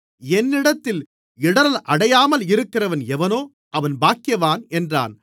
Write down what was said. என்னிடத்தில் இடறலடையாமலிருக்கிறவன் எவனோ அவன் பாக்கியவான் என்றார்